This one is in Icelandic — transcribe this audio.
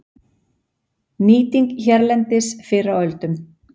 Nýting hérlendis fyrr á öldum